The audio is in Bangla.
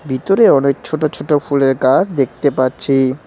ভিতরে অনেক ছোট ছোট ফুলের গাছ দেখতে পাচ্ছি।